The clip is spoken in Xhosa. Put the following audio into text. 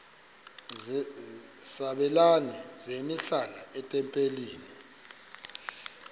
sabelani zenihlal etempileni